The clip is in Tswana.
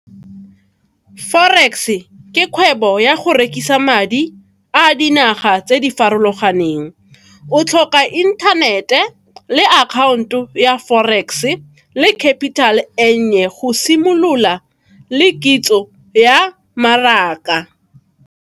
Forex ke kgwebo ya go rekisa madi a dinaga tse di farologaneng. O tlhoka inthanete le akhaonto ya forex le kapitale ennye go simolola le kitso ya mmaraka.